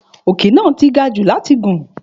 Òkè náà ti gajù láti gùn